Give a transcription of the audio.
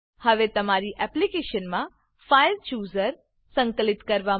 હવે તમારી એપ્લીકેશનમાં ફાઇલચૂઝર ફાઈલ ચુઝર સંકલિત કરવા માટે